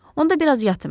Onda biraz yatım.